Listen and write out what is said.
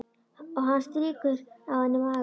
Og hann strýkur á henni magann.